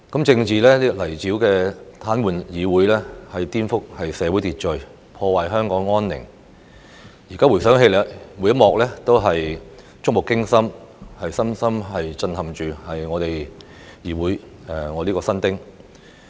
政治泥沼癱瘓議會丶顛覆社會秩序、破壞香港安寧，現在回想起來，每一幕均觸目驚心，深深震撼我這名議會新丁。